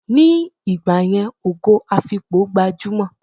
Ni ìgbàyẹn, Ògo Afikpo gbajúmò